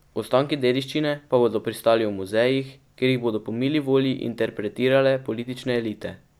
Ostanki dediščine pa bodo pristali v muzejih, kjer jih bodo po mili volji interpretirale politične elite.